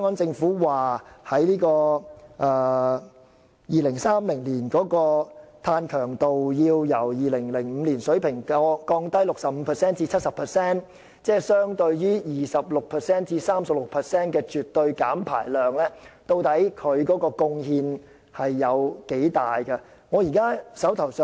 政府表示 ，2030 年本港的碳強度會由2005年的水平下降 65% 至 70%， 即相當於絕對減排量的 26% 至 36%。